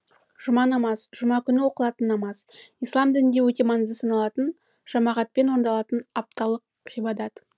жұма намаз жұма күні оқылатын намаз ислам дінінде өте маңызды саналатын жамағатпен орындалатын апталық ғибадат